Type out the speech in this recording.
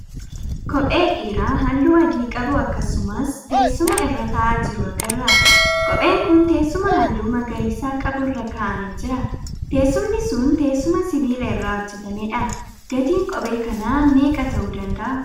Kophee dhiiraa halluu adii qabu akkasumas teessuma irra tahaa jiru agarra. Kopheen kun teessuma halluu magariisa qabu irra ka'amee jira. Teessumni sun teessuma sibila irraa hojjetameedha. Gatiin kophee kanaa meeqa tahuu dandahaa?